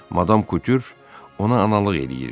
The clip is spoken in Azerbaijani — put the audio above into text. Madam Kutür ona analıq eləyirdi.